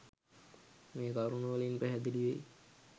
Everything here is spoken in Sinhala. මේ කරුණු වලින් පැහැදිලි වෙයි.